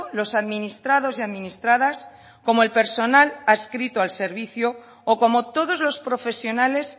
los administrados y administradas como el personal adscrito al servicio o como todos los profesionales